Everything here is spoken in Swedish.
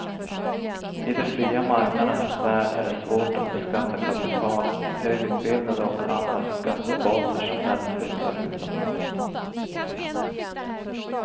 I de fria marknadernas värld är det svårt att beskatta kapital, högutbildade och andra skattebaser som lätt flyttar utomlands.